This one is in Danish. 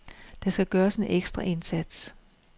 Der skal gøres en ekstra indsats.